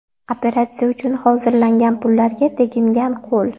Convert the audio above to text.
Operatsiya uchun hozirlangan pullarga tegingan qo‘l.